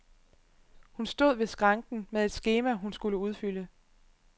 Hun stod ved skranken med et skema, hun skulle udfylde.